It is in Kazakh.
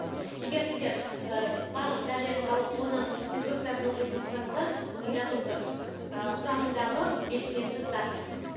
егер сіздер ііі барлық дәрілерді алып оның инструкциясын оқитын болсаңыздар жазылып тұр ыыы құрамындағы белсенді зат